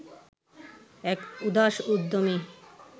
এক উদাস উদ্যমী